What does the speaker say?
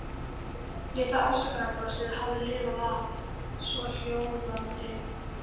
Litla afsökunarbrosið hafði lifað af, svohljóðandi